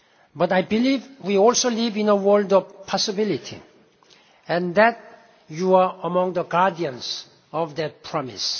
world. But I believe we also live in a world of possibility, and that you are among the guardians of that promise.